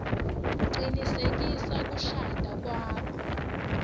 cinisekisa kushada kwakho